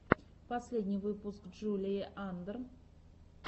последний выпуск джулии андр